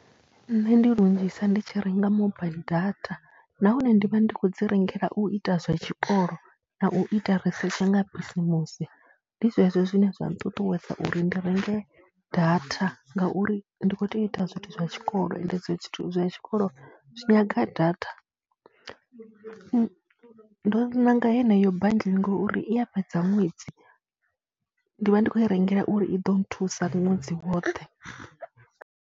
Nṋe ndi lunzhisa ndi tshi renga mobaiḽi data nahone ndi vha ndi khou dzi rengela u ita zwa tshikolo na u ita risetshe nga bisimusi. Ndi zwezwo zwine zwa nṱuṱuwedza uri ndi renge data ngauri ndi khou tea u ita zwithu zwa tshikolo ende zwithu zwa tshikolo zwi nyaga data. Ndo ṋanga heneyo bundle ngauri i a fhedza ṅwedzi, ndi vha ndi khou i rengela uri i ḓo nthusa ṅwedzi woṱhe.